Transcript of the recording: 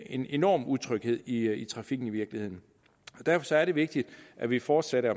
en enorm utryghed i i trafikken i virkeligheden derfor er det vigtigt at vi fortsat er